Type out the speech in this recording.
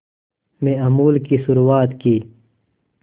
में अमूल की शुरुआत की